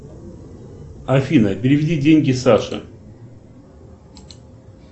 афина переведи деньги саше